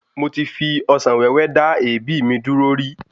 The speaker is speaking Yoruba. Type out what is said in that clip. Mo ti fi Ọsàn wéwé dá èébì mi dúró rí